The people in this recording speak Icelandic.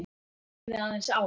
Ég horfði aðeins á